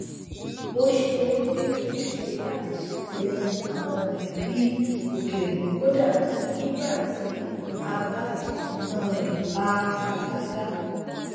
ó ṣe é bi ojúṣe láti ṣàtìlẹyìn àwọn mọlẹbí òkèrè kódà nígbà tí àbá ìṣúná rẹ bá há gágá